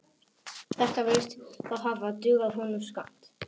Þetta virðist þó hafa dugað honum skammt.